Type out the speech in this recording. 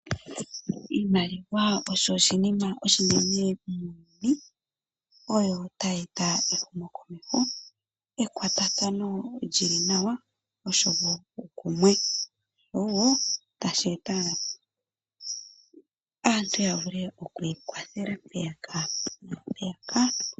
Iimaliwa osho oshinima oshinene muuyuni, oyo ta yeta ehumo komeho, ekwatathano lyili nawa nosho woo uukumwe. Iimaliwa ohayi kwathele aantu yiikwathele mpeyaka naampeyaka.